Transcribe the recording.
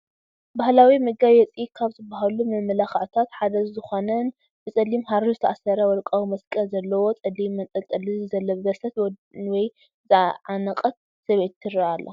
ባህላዊ መጋየፂ ካብ ዝባሃሉ መመላኽዕታት ሓደ ዝኾነን ብፀሊም ሃሪ ዝተኣሰረ ወርቃዊ መስቀል ዘለዎ ጸሊም መንጠልጠሊ ዝለበሰት ወይ ዝዓነቐት ሰበይቲ ትረአ ኣላ።